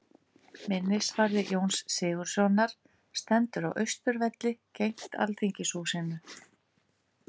Minnisvarði Jóns Sigurðssonar stendur á Austurvelli, gegnt Alþingishúsinu.